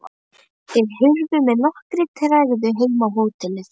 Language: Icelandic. Þeir hurfu með nokkurri tregðu heim á hótelið.